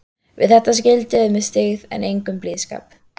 Við þetta skildu þeir með styggð en engum blíðskap.